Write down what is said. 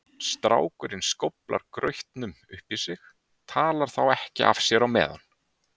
Strákurinn skóflar grautnum upp í sig, talar þá ekki af sér á meðan.